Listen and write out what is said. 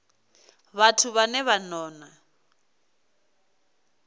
vhathu vhane vha ṱo ḓa